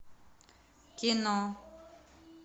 кино